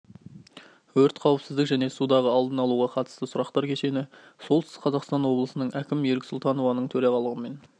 өрт қауіпсіздік және судағы алдын алуға қатысты сұрақтар кешені солтүстік қазақстан облысының әкімі ерік сұлтановтың төрағалығымен